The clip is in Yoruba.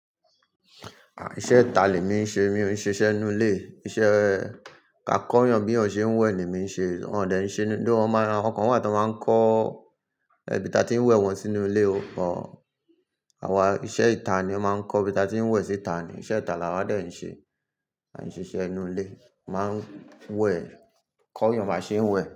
Iṣẹ́ ìta lèmi ń ṣe, mi ò ṣe iṣẹ́ inú ilé. Iṣẹ́ ka kọ́ eeyàn bí ọ̀n ṣe ń wẹ̀ ni èmi ń ṣe. Wọ̀n dẹ̀ ń ṣe ni though wọ́n máa, àwọn kan wà tó máa ń kọ́ ibi tí a ti ń wẹ̀ wọ́n sínú ilé o but àwa iṣẹ́ ìta ni ó máa ń kọ ibi tí a ti ń wẹ̀ síta ni. Iṣẹ́ ìta la wà dẹ̀ ń ṣe. Aì ṣe iṣẹ́ inú ilé. A máa ń wẹ̀, kọ́ yàn bá ṣe ń wẹ̀